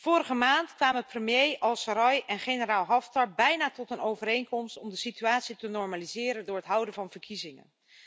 Vorige maand kwamen premier al-Serraj en generaal Haftar bijna tot een overeenkomst om de situatie te normaliseren door het houden van verkiezingen.